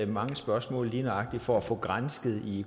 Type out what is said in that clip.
mange spørgsmål lige nøjagtig for at få gransket i